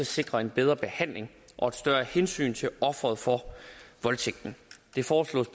sikre en bedre behandling af og et større hensyn til offeret for voldtægten det foreslås